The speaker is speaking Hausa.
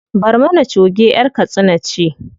Barmana choge ƴar katsina ce.